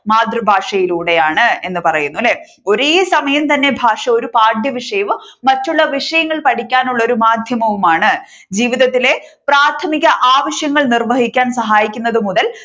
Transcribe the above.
മാതൃഭാഷയിലൂടെയാണ് എന്ന് പറയുന്നു അല്ലേ? ഒരേസമയം തന്നെ ഒരു ഭാഷ പാഠ്യ വിഷയവും മറ്റുള്ള വിഷയങ്ങളും പഠിക്കാനുള്ള ഒരു മാധ്യവുമാണ് ജീവിതത്തിലെ പ്രാഥമിക ആവശ്യങ്ങൾ നിർവഹിക്കാൻ സഹായിക്കുന്നതു മുതൽ